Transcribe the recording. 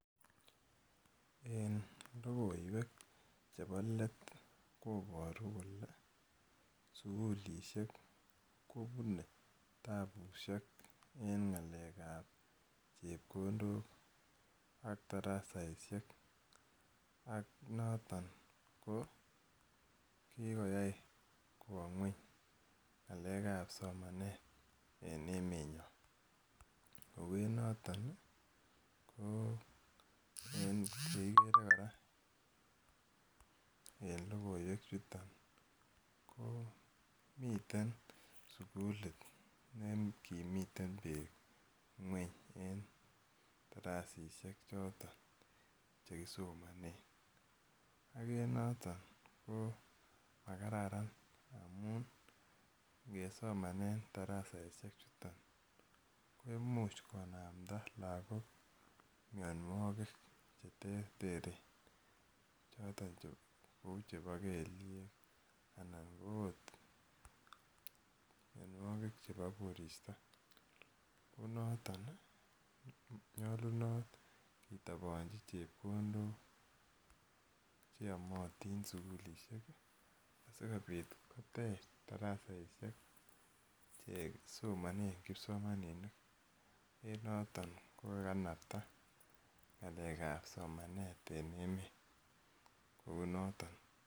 En lokoiwek chepo let koporu kole sukulishek kopune tapusiek eng ng'alekab chepkondok ak darasaisiek ak noton kikoyai kwo ngweny ng'alekab somanet en emonyon ,kou enoton ii koo yekiker kora en logoiwechuton koo miten sugulit ne kimiten beek ngweny en darasisiek choton chekisomonen ak en noton koo makararan ngamun ngesomanen darasaisie chuton koimuch konamdaa lagok mianwogik cheterteren choton kou chebo kelyek anan koot mianwogik chebo koristo kou noton nyolunot kitoponji chepkondok cheyomotin sugulisiek sikobit kotech darasaisiek chekisomanen kipsomaninik en noton kokakanaptaa ng'alekab somanet en emet kou noton.